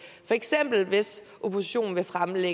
for eksempel hvis oppositionen vil fremsætte